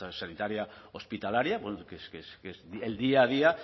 sanitaria hospitalaria que es el día a día